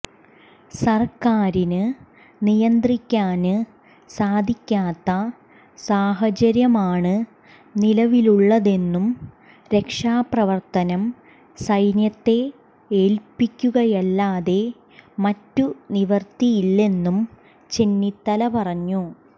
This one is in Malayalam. സര്ക്കാരിന് നിയന്ത്രിക്കാന് സാധിക്കാത്ത സാഹചര്യമാണ് നിലവിലുള്ളതെന്നും രക്ഷാപ്രവര്ത്തനം സൈന്യത്തെ ഏല്പിക്കുകയല്ലാതെ മറ്റു നിവര്ത്തിയില്ലെന്നും ചെന്നിത്തല പറഞ്ഞു